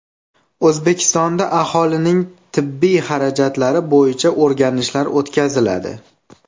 O‘zbekistonda aholining tibbiy xarajatlari bo‘yicha o‘rganishlar o‘tkaziladi.